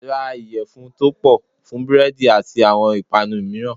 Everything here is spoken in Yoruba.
Ra ìyẹ̀fun tó pọ̀ fún búrẹ́dì àti àwọn ìpànu mìíràn.